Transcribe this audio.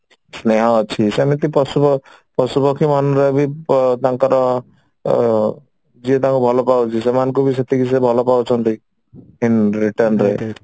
ସ୍ନେହ ଅଛି ସେମିତି ପଶୁ ପ ପଶୁ ପକ୍ଷୀ ମନରେ ବି ତାଙ୍କର ଅ ଯିଏ ତାଙ୍କୁ ଭଲ ପାଉଛି ସେମାନଙ୍କୁ ବି ସେତିକି ସେ ଭଲ ପାଉଛନ୍ତି in return ରେ